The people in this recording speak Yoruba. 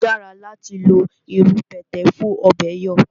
O dára láti lo irú pẹ̀tẹ̀ fún ọ̀bẹ̀ẹ̀ yọ̀